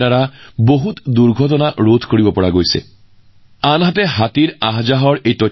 ইয়াৰ ফলত হাতী জাকৰ পৰা হোৱা ক্ষতিৰ সম্ভাৱনা হ্ৰাস পালেও হাতী সম্পৰ্কীয় তথ্য সংগ্ৰহতো সহায় কৰে